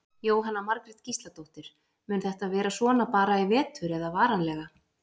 Jóhanna Margrét Gísladóttir: Mun þetta vera svona bara í vetur eða varanlega?